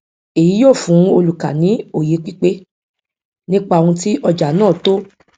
èyí yóò fún olùkà ní òye pípé nípa ohun tí ọjà náà tó